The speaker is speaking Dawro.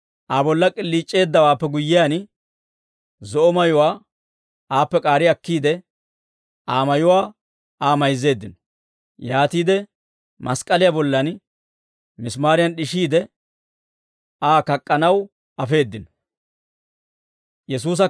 Aa bolla k'iliic'eeddawaappe guyyiyaan, zo'o mayuwaa aappe k'aari akkiide, Aa mayuwaa Aa mayzzeeddino; yaatiide mask'k'aliyaa bollan misimaariyan d'ishiide, Aa kak'k'anaw afeeddino.